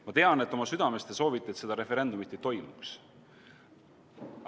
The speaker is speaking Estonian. Ma tean, et oma südames te soovite, et seda referendumit ei toimuks.